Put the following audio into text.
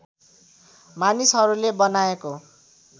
मानिसहरूले बनाएको